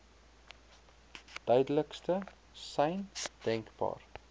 duidelikste sein denkbaar